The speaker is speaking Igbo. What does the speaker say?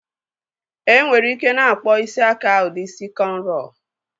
Nwere ike na-akpọ isi aka ụdị isi kọnrọ